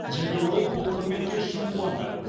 және ол бұл құрметке шын қуанды